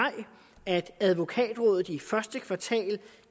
at advokatrådet i første kvartal